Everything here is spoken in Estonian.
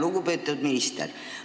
Lugupeetud minister!